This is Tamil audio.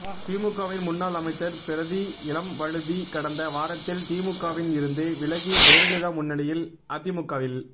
திமுகவின் முன்னாள் அமைச்சர் பரிதி இளம்வழுதி கடந்த வாரத்தில் திமுகவில் இருந்து விலகி ஜெய லலிதா முன்னிலையில் அதிமுகவில்